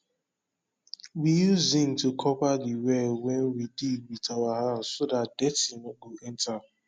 we use zinc to cover de well wen we dig wit our hand so dat dirty nor go enta